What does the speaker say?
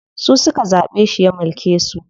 Su suka zaɓe shi ya mulke su.